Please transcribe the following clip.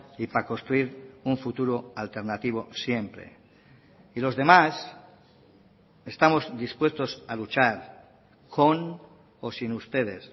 y para construir un futuro alternativo siempre y los demás estamos dispuestos a luchar con o sin ustedes